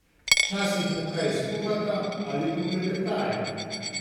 Včasih mu kaj skuhata ali poklepetajo.